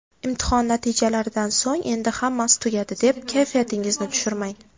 Imtihon natijalaridan so‘ng endi hammasi tugadi, deb kayfiyatingizni tushirmang!